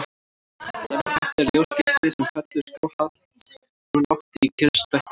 Dæmi um þetta er ljósgeisli sem fellur skáhallt úr lofti í kyrrstætt vatn.